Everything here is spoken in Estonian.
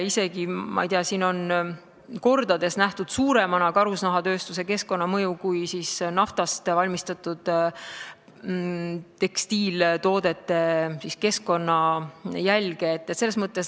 Karusnahatööstuse keskkonnamõju on nähtud ka isegi mitu korda suuremana, kui on naftast valmistatud tekstiiltoodete keskkonnajälg.